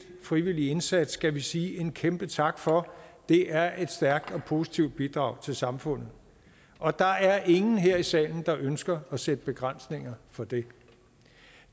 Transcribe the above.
frivillige indsats skal vi sige en kæmpe tak for det er et stærkt og positivt bidrag til samfundet og der er ingen her i salen der ønsker at sætte begrænsninger for det